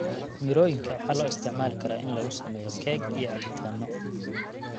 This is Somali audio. Mirooyinka waxaa loo isticmaali karaa in lagu sameeyo keeg iyo cabitaanno.